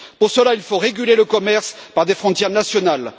Pour cela, il faut réguler le commerce par des frontières nationales.